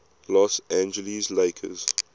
los angeles lakers